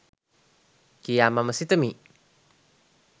කියා මම සිතමි.